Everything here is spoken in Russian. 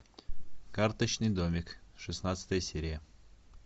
карточный домик шестнадцатая серия